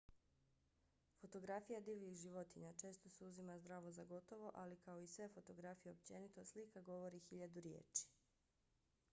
fotografija divljih životinja često se uzima zdravo za gotovo ali kao i sve fotografije općenito slika govori hiljadu riječi